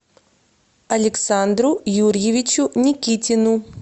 александру юрьевичу никитину